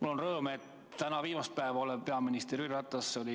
Mul on hea meel, et täna viimast päeva peaminister olev Jüri Ratas on